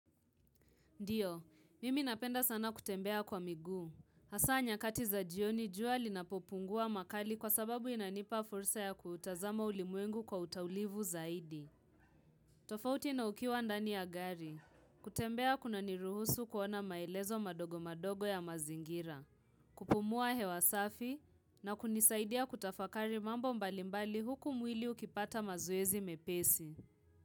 Ndiyo, mimi napenda sana kutembea kwa miguu. Hasaa nyakati za jioni jua linapopungua makali kwa sababu inanipa fursa ya kutazama ulimwengu kwa utaulivu zaidi. Tofauti na ukiwa ndani ya gari. Kutembea kuna niruhusu kuona maelezo madogo madogo ya mazingira. Kupumua hewa safi na kunisaidia kutafakari mambo mbalimbali huku mwili ukipata mazoezi mepesi.